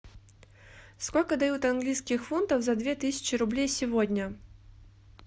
сколько дают английских фунтов за две тысячи рублей сегодня